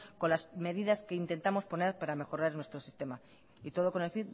con las medidas que intentamos poner para mejorar nuestro sistema y todo con el